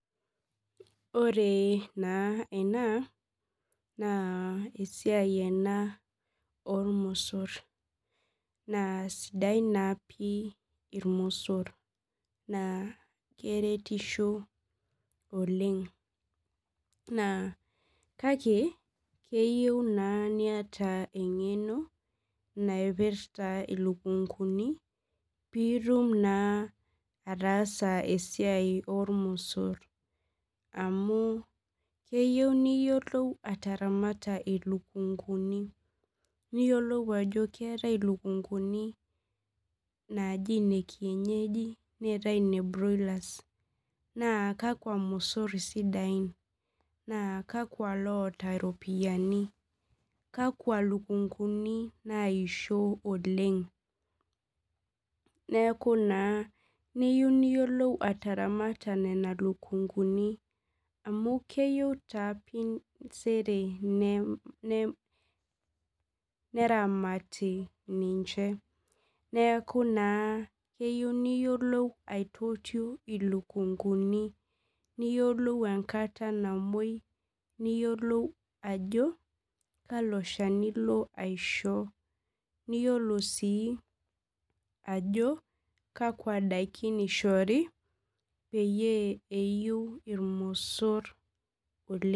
Ore naa ena naa esiai ena oormosor naa sidain naa pi irmosor naa keretisho oleng kake keyieu naa niata engenk naipirta ilukunkuni piitum naa ataasa esiai oormosor amu keyieu niyiolou ataramata ilukunkuni niyiolou ajo keetai ilukunkuni naa kakwa mosor isidain naa kakwa loota iropiyiani kakwa lukunkuni naishio oleng neeku naa niyieu niyiolou ataaramata nena lukunkuni amu keyieu taa sere neramati ninche neeku naa keyieu niyiolou aitotio ilukunkuni niyiolou ajo kalo shani ilo aisho niyiolou sii ajo kakwa daiki eishori peeiu irmosor